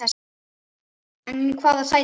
En í hvaða sæti?